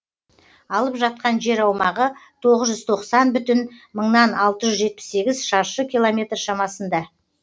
алып жатқан жер аумағы тоғыз жүз тоқсан бүтін мыңнан алты жүз жетпіс сегіз шаршы километр шамасында